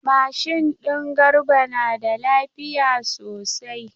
Mashin din Garba na da lafiya sosai.